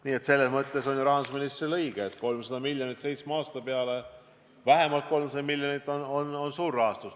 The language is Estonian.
Nii et selles mõttes on ju rahandusministril õigus, et 300 miljonit seitsme aasta peale – vähemalt 300 miljonit – on suur raha.